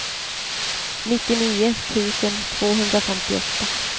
nittionio tusen tvåhundrafemtioåtta